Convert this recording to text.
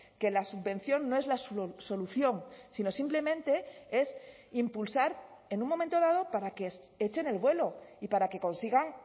que la subvención no es la solución sino simplemente es impulsar en un momento dado para que echen el vuelo y para que consigan